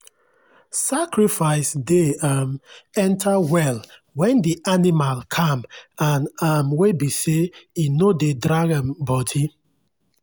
sacrifice dey um enter well when the animal calm and um wey be sey e no dey drag um body.